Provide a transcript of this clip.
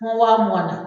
mugan na